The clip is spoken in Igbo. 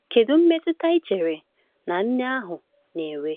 Kedu mmetụta ị chere na nne ahụ na-enwe?